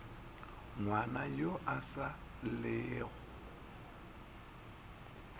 ngwana yo a sa llego